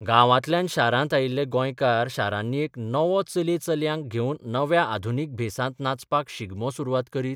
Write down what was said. गांवांतल्यान शारांत आयिल्ले गोंयकार शारांनी एक नवो चले चलयांक घेवन नव्या आधुनीक भेसांत नाचपाक शिगमो सुरवात करीत?